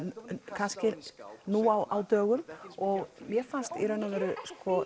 kannski nú á dögum og mér fannst í raun og veru